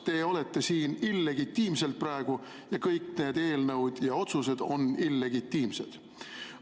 Te olete siin illegitiimselt praegu ja kõik need eelnõud ja otsused on illegitiimsed.